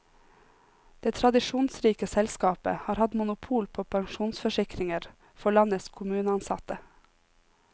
Det tradisjonsrike selskapet har hatt monopol på pensjonsforsikringer for landets kommuneansatte.